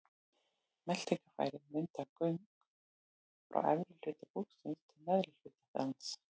Meltingarfærin mynda göng frá efri hluta búksins til neðri hlutar hans.